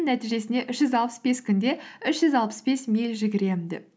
нәтижесінде үш жүз алпыс бес күнде үш жүз алпыс бес миль жүгіремін деп